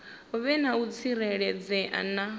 vhe na u tsireledzea na